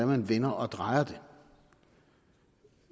man vender og drejer det